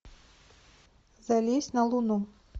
залезть на луну